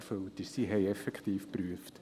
Es wurde effektiv geprüft.